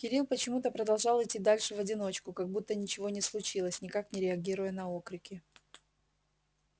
кирилл почему-то продолжал идти дальше в одиночку как будто ничего и не случилось никак не реагируя на окрики